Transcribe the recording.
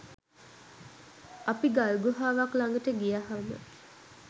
අපි ගල් ගුහාවක් ළඟට ගියහම